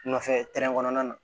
Nɔfɛ kɔnɔna na